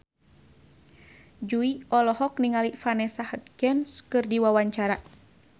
Jui olohok ningali Vanessa Hudgens keur diwawancara